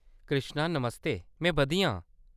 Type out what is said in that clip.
कृष्णा, नमस्ते। में बधिया आंं।